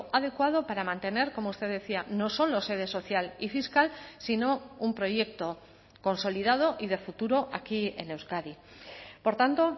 adecuado para mantener como usted decía no solo sede social y fiscal sino un proyecto consolidado y de futuro aquí en euskadi por tanto